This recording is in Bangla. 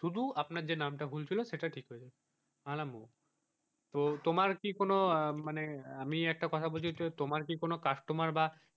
শুধু আপনার যে নামটা ভুল ছিল সেটা ঠিক হয়ে যাবে আমি বললাম ও তো তোমার কি কোন মানে আমি একটা কথা বলছি তো তোমার কি কোনো customer বা,